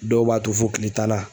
Dɔw b'a to fo kile tannan.